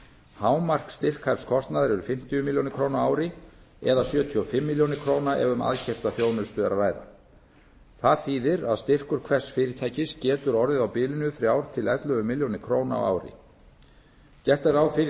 hámark styrkhæfs kostnaðar eru fimmtíu milljónir króna á ári eða sjötíu og fimm milljónir króna ef um aðkeypta þjónustu er að ræða það þýðir að styrkur hvers fyrirtækis getur orðið á bilinu þrjú til ellefu milljónir króna á ári gert er ráð fyrir